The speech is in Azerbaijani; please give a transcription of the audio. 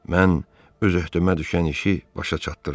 Mən öz öhdəmə düşən işi başa çatdırdım.